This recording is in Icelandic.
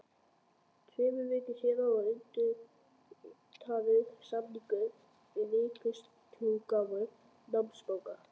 Tveimur vikum síðar var undirritaður samningur við Ríkisútgáfu námsbóka.